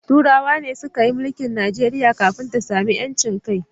Turawan ne suka yi milke Najeriya kafin ta samu ‘yancin kai.